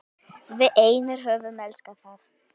Við einir höfum elskað það.